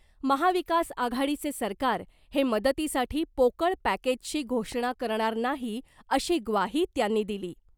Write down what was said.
महाविकास आघाडीचे सरकार हे मदतीसाठी पोकळ पॅकेजची घोषणा करणार नाही अशी ग्वाही त्यांनी दिली .